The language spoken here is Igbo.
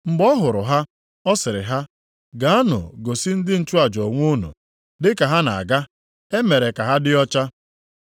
Mgbe ọ hụrụ ha, ọ sịrị ha, “Gaanụ gosi ndị nchụaja onwe unu.” Dị ka ha na-aga, e mere ka ha dị ọcha.